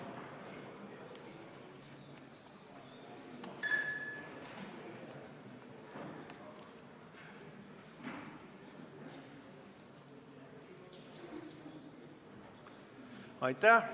Hääletustulemused Aitäh!